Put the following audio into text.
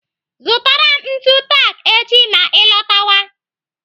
Zụtara m ntu tak echi ma ị lọtọwa.